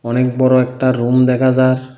অনেক বড়ো একটা রুম দেখা যার ।